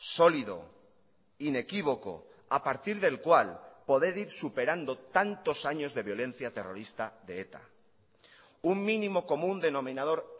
sólido inequívoco a partir del cual poder ir superando tantos años de violencia terrorista de eta un mínimo común denominador